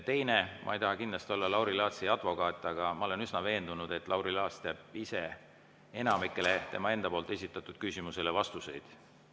Teiseks: ma ei taha kindlasti olla Lauri Laatsi advokaat, aga ma olen üsna veendunud, et Lauri Laats ise teab enamikule tema enda esitatud küsimustele vastuseid.